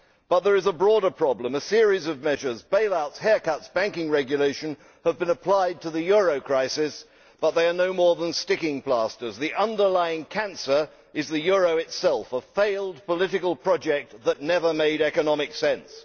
But there is a broader problem a series of measures bailouts, haircuts, banking regulation have been applied to the euro crisis, but they are no more than sticking plasters. The underlining cancer is the euro itself a failed political project that never made economic sense.